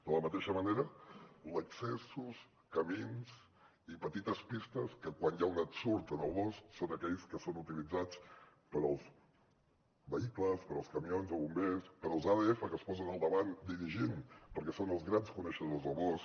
de la mateixa manera accessos camins i petites pistes que quan hi ha un ensurt al bosc són aquells que són utilitzats pels vehicles pels camions de bombers i pels adf que es posen al davant dirigint perquè són els grans coneixedors del bosc